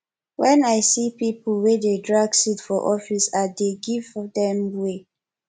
wen i see pipo wey dey drag seat for office i dey give dem way